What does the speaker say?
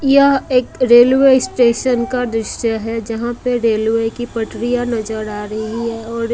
यह एक railway station का दृश्य है जहां पे रेलवे की पटरियां नजर आ रही है और--